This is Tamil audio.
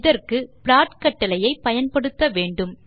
இதற்கு ப்ளாட் கட்டளையை பயன்படுத்த வேண்டும்